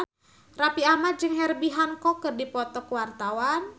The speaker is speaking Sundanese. Raffi Ahmad jeung Herbie Hancock keur dipoto ku wartawan